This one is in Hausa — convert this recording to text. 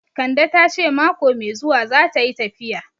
Kande ta ce mako mai zuwa zata yi tafiya